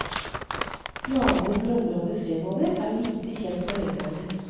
Planene for området fremover er lite kjent for velgerne.